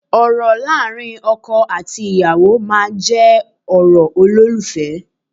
Ọ̀rọ̀ láàrin ọkọ àti ìyàwó máa jẹ́ ọ̀rọ̀ olólùfẹ́